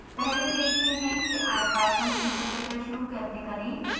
पहले देखते हैं कि ipython interpreter शुरू कैसे करें